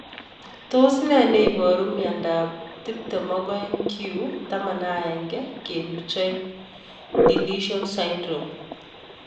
Tos nee neiparu miondop 22q11.2 deletion syndrome